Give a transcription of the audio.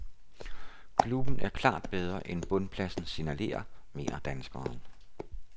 Klubben er klart bedre end bundpladsen signalerer, mener danskeren.